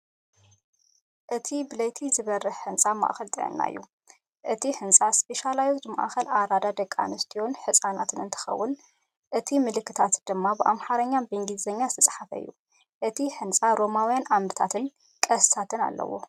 እዚ ብለይቲ ዝበርህ ህንጻ ማእከል ጥዕና እዩ። እቲ ህንፃ ስፔሻላይዝድ ማእኸል ኣራዳ ደቂ ኣንስትዮን ህፃናትን እንትኸውን፣ እቲ ምልክታት ድማ ብኣምሓርኛን እንግሊዝኛን ዝተፅሓፈ እዩ። እቲ ህንጻ ሮማውያን ዓምድታትን ቅስትታትን ኣለዎ።